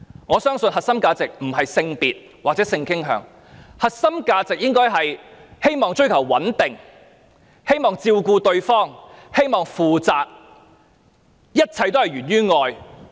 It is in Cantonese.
我相信並非在於性別或性傾向，而是追求穩定的關係，希望照顧對方及對其負責，一切皆源於愛。